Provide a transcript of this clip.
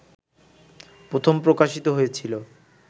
প্রথম প্রকাশিত হয়েছিল